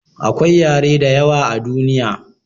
akwai yare da yawa a duniya